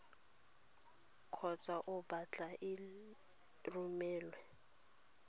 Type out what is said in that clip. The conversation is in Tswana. kgotsa o batla e romelwe